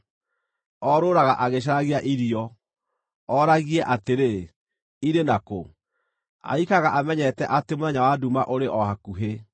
Orũũraga agĩcaragia irio, oragie atĩrĩ, ‘Irĩ na kũ?’ Aikaraga amenyete atĩ mũthenya wa nduma ũrĩ o hakuhĩ.